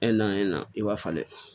naani na i b'a falen